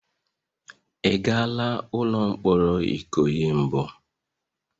Ị gala ụlọ mkpọrọ Ikoyi mbụ?